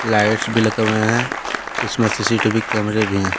Lights भी लगे हुए हैं इसमें सी_सी_टी_वी कैमरे भी हैं।